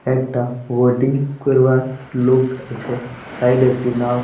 একটা উওটিং খুলবার লোক আছে । সাইডে একটি নাও--